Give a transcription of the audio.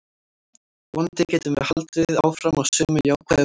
Vonandi getum við haldið áfram á sömu jákvæðu braut.